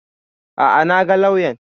A'a na ga lauyan